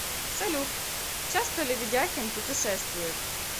салют часто ли ведяхин путешествует